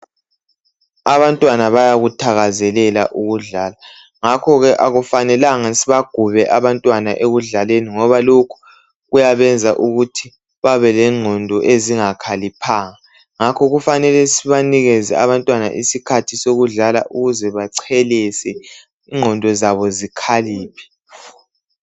Abantwana bayakuthakazelela ukudlala, ngakhoke akufanelanga sibagube abantwana ekudlaleni ngoba lokho kuyabenza ukuthi babelengqondo ezingakhaliphanga. Ngakho kufanele sibanikeze abantwana isikhathi sokudlala ukuze bachelese, ingqondo zabo zikhaliphe.